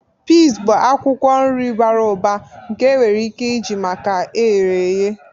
Pee bụ akwukwo nri bara ụba nke enwere ike iji maka eherehe.